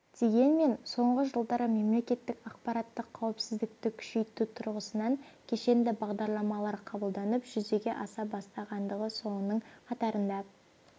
дегенмен соңғы жылдары мемлекеттік ақпараттық қауіпсіздікті күшейту тұрғысынан кешенді бағдарламалар қабылданып жүзеге аса бастағандығы соның қатарында